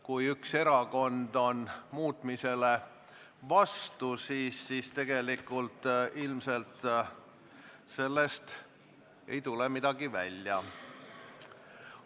Kui üks erakond on muutmise vastu, siis tegelikult ilmselt sellest ei tule midagi välja.